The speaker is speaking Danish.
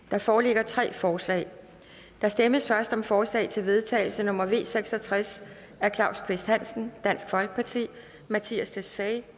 der foreligger tre forslag der stemmes først om forslag til vedtagelse nummer v seks og tres af claus kvist hansen mattias tesfaye